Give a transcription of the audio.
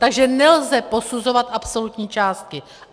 Takže nelze posuzovat absolutní částky.